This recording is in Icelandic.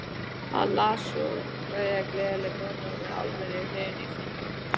Hann les svo kvæðið Gleðikonan við almenna hrifningu fundarmanna.